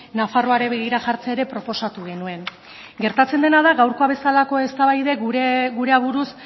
nafarroari begira jartzea ere proposatu genuen gertatzen dena da gaurkoa bezalako eztabaidek gure aburuz